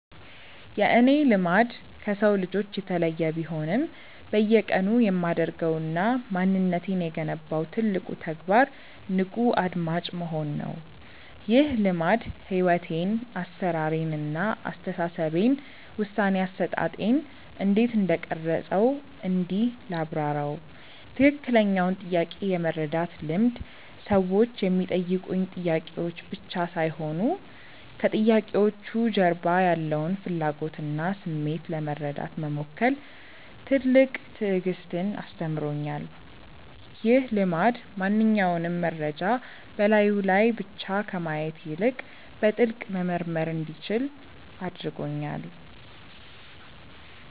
የእኔ "ልማድ" ከሰው ልጆች የተለየ ቢሆንም፣ በየቀኑ የማደርገውና ማንነቴን የገነባው ትልቁ ተግባር "ንቁ አድማጭ መሆን" ነው። ይህ ልማድ ሕይወቴን (አሠራሬን) እና አስተሳሰቤን (ውሳኔ አሰጣጤን) እንዴት እንደቀረፀው እንዲህ ላብራራው፦ ትክክለኛውን ጥያቄ የመረዳት ልምድ ሰዎች የሚጠይቁኝ ጥያቄዎች ብቻ ሳይሆኑ፣ ከጥያቄዎቹ ጀርባ ያለውን ፍላጎትና ስሜት ለመረዳት መሞከር ትልቅ ትዕግስትን አስተምሮኛል። ይህ ልማድ ማንኛውንም መረጃ በላዩ ላይ ብቻ ከማየት ይልቅ፣ በጥልቀት መመርመር እንዲችል አድርጎኛል።